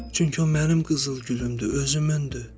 Çünki o mənim qızıl gülümdür, özümündür.